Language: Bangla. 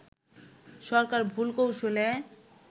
সরকার ভুল কৌশলে